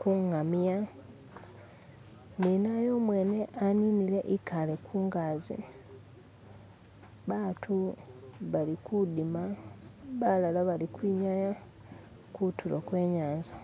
kungamia ninaye umwene aaninile ekale kungazi, baatu balikuddima balala balikwinyaya kuntulo kwe inyanza.